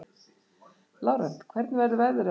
Lárent, hvernig verður veðrið á morgun?